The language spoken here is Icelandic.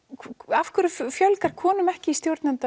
af hverju fjölgar konum ekki í stjórnenda